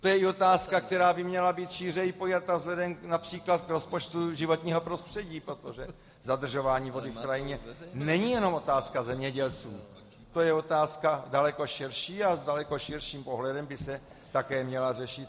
To je i otázka, která by měla být šířeji pojata vzhledem například k rozpočtu životního prostředí, protože zadržování vody v krajině není jenom otázka zemědělců, to je otázka daleko širší a s daleko širším pohledem by se také měla řešit.